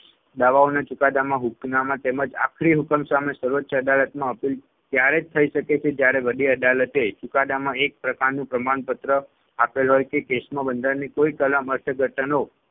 દાવાઓના ચુકાદામાં હૂકનામા તેમજ આખરી હુકમ સામે સર્વોચ્ય અદાલતમાં appeal ત્યારે જ થઇ શકે છે જયારે વડી અદાલતે ચુકાદામાં એક પ્રકારનું પ્રમાણપત્ર આપેલ હોય કે case માં બંધારણની કોઈ કલમ અર્થઘટનો